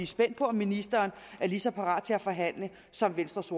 spændt på om ministeren er lige så parat til at forhandle som venstres